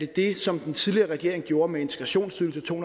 det som den tidligere regering gjorde med integrationsydelsen to